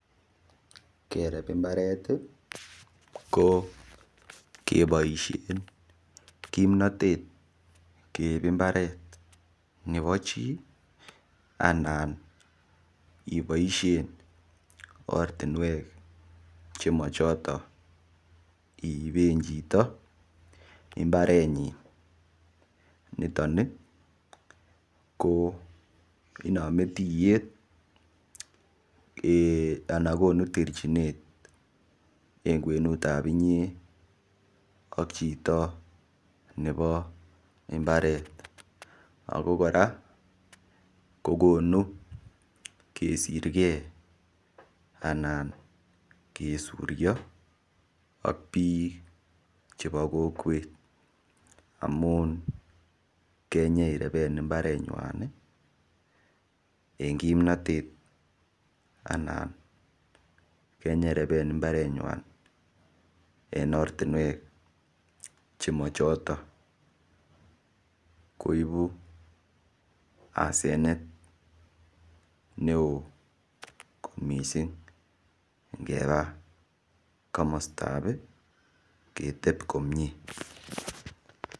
kereb mbareti kokeboishen kimnotet keib mbaret nepo chi anan iboishen ortinwek chemochoton iiben chito mbarenyin nitoni koo inome tiyet anakonu terchinet en kwenutab inyee ak chito nebo mbaret ako kora kokonu kesirkee anan kesurio ak biik chebo kokwet amun kenyireben mbarenywani en kimnotet anan kenyoireben mbarenywan en ortinwek chemochotok koibu asenet neoo kot mising ngepa komostabi keteb komie